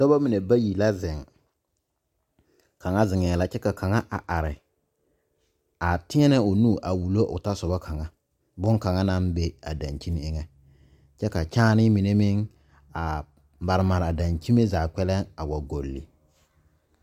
Dɔba mine bayi la zeŋ kaŋa zeŋɛɛ la kyɛ ka kaŋa a are a teɛnɛ o nu a wullo o tɔsoba kaŋ bonkaŋ naŋ be a dankyini eŋɛ kyɛ ka kyããne mine meŋ a mare mare a dankyime zaa kpɛlɛŋ a wa golli.